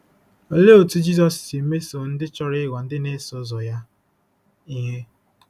Olee otú Jizọs si mesoo ndị chọrọ ịghọ ndị na-eso ụzọ ya ihe?